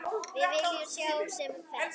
Við viljum sjá sem flesta.